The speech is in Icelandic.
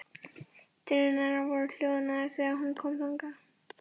Drunurnar voru hljóðnaðar þegar hún kom þangað.